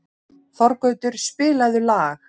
Þorgautur, spilaðu lag.